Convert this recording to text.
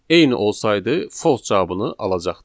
Eyni olsaydı false cavabını alacaqdıq.